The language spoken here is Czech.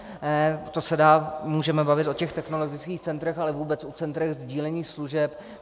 To se můžeme dál bavit o těch technologických centrech, ale vůbec o centrech sdílení služeb.